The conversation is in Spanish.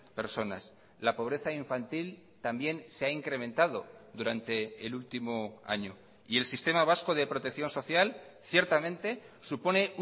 personas la pobreza infantil también se ha incrementado durante el último año y el sistema vasco de protección social ciertamente supone